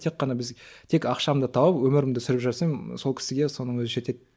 тек қана біз тек ақшамды тауып өміріңді сүріп жүрсең сол кісіге соның өзі жетеді